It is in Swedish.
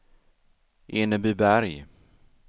Enebyberg